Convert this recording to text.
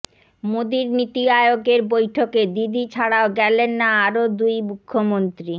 মোদীর নীতি আয়োগের বৈঠকে দিদি ছাড়াও গেলেন না আরও দুই মুখ্যমন্ত্রী